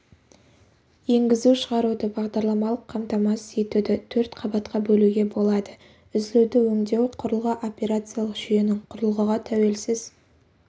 енгізу-шығаруды бағдарламалық қамтамасыз етуді төрт қабатқа бөлуге болады үзілуді өңдеу құрылғы операциялық жүйенің құрылғыға тәуелсіз